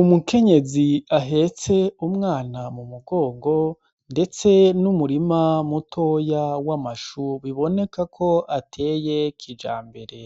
Umukenyezi ahetse umwana mu mugongo, ndetse n'umurima mutoya w'amashubiboneka ko ateye kija mbere,